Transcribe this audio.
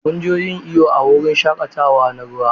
Mu je yin iyo a wurin shaƙatawa na ruwa.